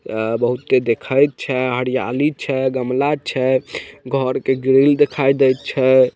यहाँ बहुत दिखई छै हरियाली छै गमला छै घर के ग्रिल दिखाई देइ छै।